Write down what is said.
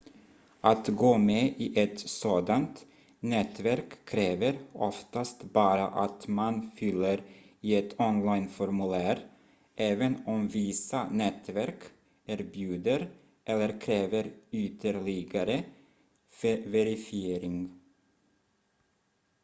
att gå med i ett sådant nätverk kräver oftast bara att man fyller i ett online-formulär även om vissa nätverk erbjuder eller kräver ytterligare verifiering